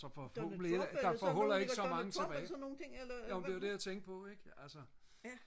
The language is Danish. Donald Trump eller sådan nogle Donald Trump og sådan nogle ting ikke ja